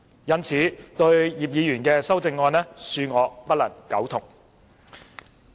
因此，對葉議員的修正案，恕我不能苟同。